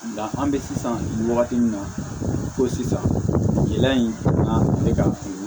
Nka an bɛ sisan nin wagati min na ko sisan gɛlɛya in na ne ka